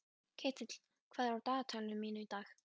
Ketill, hvað er á dagatalinu mínu í dag?